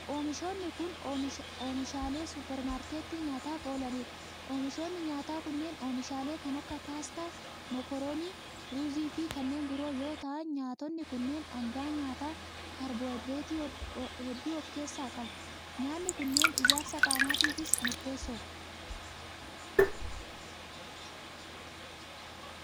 Oomishoonni kun, oomishaalee supparmaarkettii nyaataf oolanii dha. Oomishoonni nyaataa kunneen, oomishaalee kan akka paastaa, mokoronii ,ruuzii fi kanneen biroo yoo ta'an nyaatonni kunneen dhangaa nyaataa kaarboohayidireetii hedduu of keessaa qabu. Nyaanni kunneen ,ijaarsa qaamaatifis murteessoo dha.